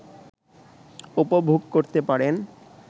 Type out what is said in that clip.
উপভোগ করতে পারেন